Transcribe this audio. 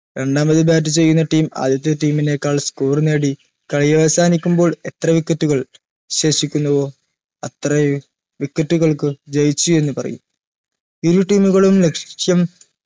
രണ്ടാമത് bat ചെയ്യുന്ന team ആദ്യത്തെ team നേക്കാൾ score നേടി പര്യവസാനിക്കുമ്പോൾ എത്ര wicket മുകൾ ശേഷിക്കുന്നുവോ അത്രയും wicket കൾക്ക് ജയിച്ചു എന്ന് പറയും